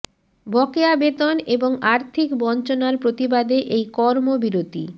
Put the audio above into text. বকেয়া বেতন এবং আর্থিক বঞ্চনার প্রতিবাদে এই কর্ম বিরতি